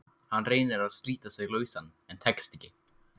Hann reynir að slíta sig lausan en tekst ekki.